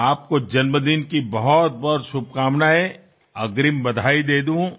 આપને જન્મદિવસની ઘણી બધી શુભકામનાઓ વહેલી શુભેચ્છા આપી દઉં